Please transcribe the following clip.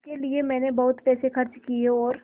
इसके लिए मैंने बहुत पैसे खर्च किए हैं और